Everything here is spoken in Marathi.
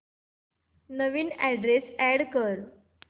नवीन अॅड्रेस अॅड कर